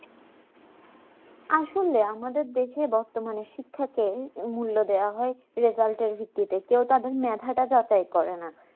আসলে আমাদের দেশে বর্তমানের শিক্ষাকে মূল্য দেওয়া হয় result এর ভিত্তিতে কাও তাদের মেধাটা যাচাই করে না